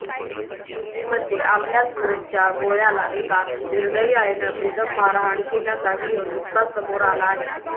दिल्लीमध्ये आपल्याच पोटच्या गोळ्याला एका निर्दयी आईनं बेदम मारहाण केल्याचा व्हिडिओ नुकताच समोर आला आहे